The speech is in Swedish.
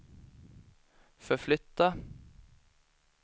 förflytta